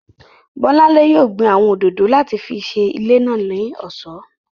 Bọ́lánlé yóò gbin àwọn òdòdó láti fi ṣe ilé náà ní ọ̀ṣọ́